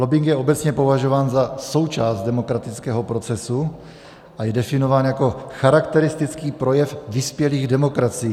Lobbing je obecně považován za součást demokratického procesu a je definován jako charakteristický projev vyspělých demokracií.